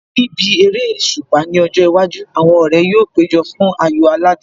Níbi eréṣùpá ní ọjọ́ iwájú, àwọn ọ̀rẹ́ yóò péjọ fún ayò aládùn